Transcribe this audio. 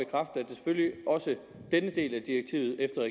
også denne del af direktivet efter